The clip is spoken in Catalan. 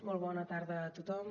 molt bona tarda a tothom